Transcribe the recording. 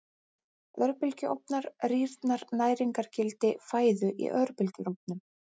Örbylgjuofnar Rýrnar næringargildi fæðu í örbylgjuofnum?